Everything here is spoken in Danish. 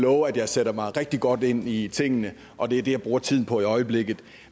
love at jeg sætter mig rigtig godt ind i tingene og det er det jeg bruger tiden på i øjeblikket